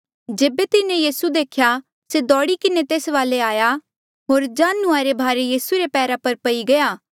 जेबे तिन्हें यीसू देख्या से दौड़ी किन्हें तेस वाले आया होर जांढू रे भारे यीसू रे पैरा पर पई गया